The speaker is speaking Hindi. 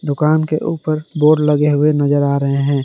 दुकान के ऊपर बोर्ड लगे हुए नजर आ रहे हैं।